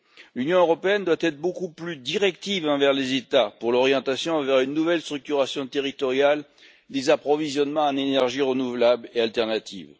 L'Union européenne doit être beaucoup plus directive envers les États pour l'orientation vers une nouvelle structuration territoriale des approvisionnements en énergies renouvelables et alternatives.